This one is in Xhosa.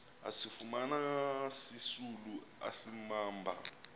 asifumana sisisulu asibamba